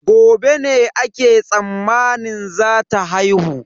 Gobe ne ake tsammanin zata haihu.